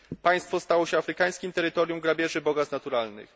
Państwo to stało się afrykańskim terytorium grabieży bogactw naturalnych.